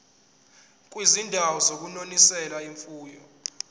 kwizindawo zokunonisela imfuyo